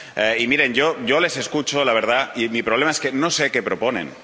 Y, miren, yo les escucho, la verdad, y mi problema es que no sé qué proponen.